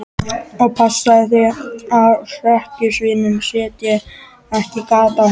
Og passaðu þig að hrekkjusvínin setji ekki gat á hana.